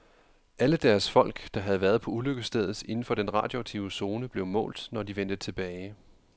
Alle deres folk, der havde været på ulykkesstedet inden for den radioaktive zone, blev målt, når de vendte tilbage.